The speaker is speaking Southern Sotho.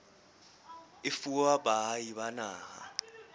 e fuwa baahi ba naha